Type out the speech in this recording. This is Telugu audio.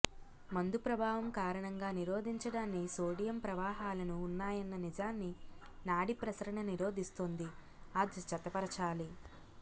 మందు ప్రభావం కారణంగా నిరోధించడాన్ని సోడియం ప్రవాహాలను ఉన్నాయన్న నిజాన్ని నాడి ప్రసరణ నిరోధిస్తుంది ఆ జతపరచాలి